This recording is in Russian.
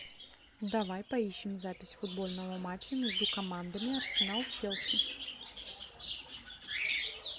давай поищем запись футбольного матча между командами арсенал челси